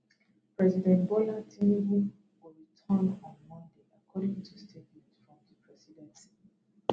president bola tinubu go return on monday according to statement from di presidency